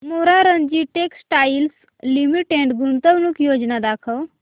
Morarji textiles limited गुंतवणूक योजना दाखव